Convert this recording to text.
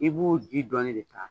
I b'o ji dɔɔni de ta